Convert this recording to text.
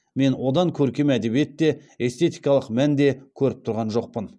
мен одан көркем әдебиет те эстетикалық мән де көріп тұрған жоқпын